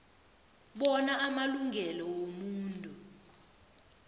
bona amalungelo wobuntu